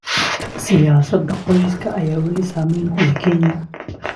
Siyaasadda qoyska ayaa wali saameyn ku leh Kenya.